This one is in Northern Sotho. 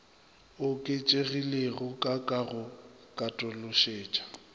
oketšegilego ka ka go katološetša